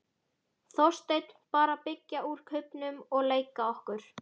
Þorsteinn: Bara að byggja úr kubbunum og leika okkur.